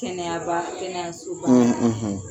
Kɛnɛyaba, kɛnɛyasoba;